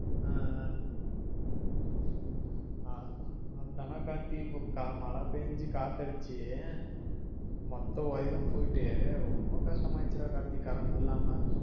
அஹ் ஆஹ் ஆஹ் அவ்ளோ தான் டா கார்த்தி இப்போ கா மழ பேன்சி காத்தடிச்சி மொத்த wire போயிட்டு ரொம்ப கஷ்டமா ஆயிருச்சுடா கார்த்தி current இல்லாம